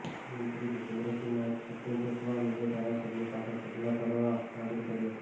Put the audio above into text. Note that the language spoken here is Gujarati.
મંત્રી ભૂપેન્દ્રસિંહે માઈક છુટ્ટુ ફેંકવા મુદ્દે ધારાસભ્ય સામે પગલાં ભરવા માગણી કરી હતી